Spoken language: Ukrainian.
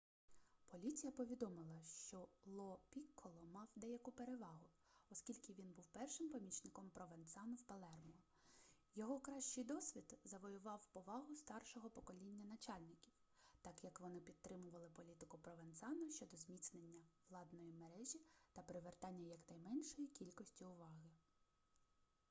поліція повідомила що ло пікколо мав деяку перевагу оскільки він був першим помічником провенцано в палермо його кращий досвід завоював повагу старшого покоління начальників так як вони підтримували політику провенцано щодо зміцнення владної мережі та привертання якнайменшої кількості уваги